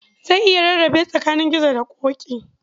Zan iya rarrabe tsakanin Gizo da Ƙoƙi.